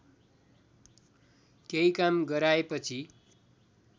केही काम गराएपछि